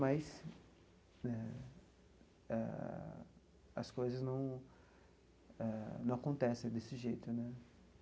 Mas né as coisas não eh não acontecem desse jeito né.